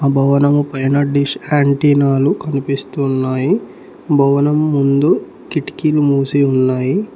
భవనము పైన డిష్ ఆంటీనాలు కనిపిస్తున్నాయి భవనం ముందు కిటికీలు మూసి ఉన్నాయి.